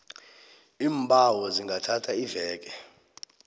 iimbawo zingathatha iveke